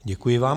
Děkuji vám.